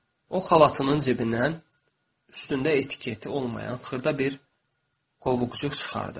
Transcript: O xalatının cibindən üstündə etiketi olmayan xırda bir qovuqcuq çıxardı.